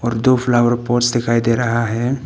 दो flower pots दिखाई दे रहा है।